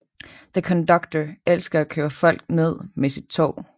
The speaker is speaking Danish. The Conductor elsker at køre folk ned med sit tog